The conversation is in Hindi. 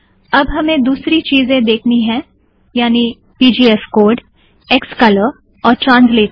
अब हमे दूसरी चीज़ें देखनी हैं यानि - पीजीएफकोड क्सकलर और translator